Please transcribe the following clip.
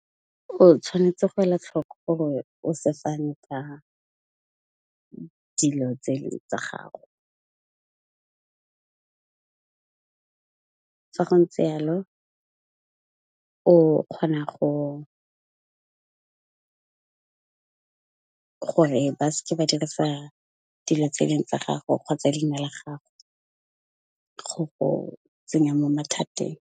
O tshwanetse go ela tlhoko gore o se fane ka dilo tse e leng tsa gago. Fa go ntse jalo o kgona, gore ba se ke ba dirisa dilo tseo tsa gago kgotsa leina la gago go go tsenya mo mathateng.